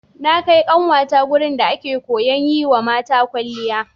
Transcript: Na kai ƙanwata wurin da ake koyan yiwa mata kwalliya.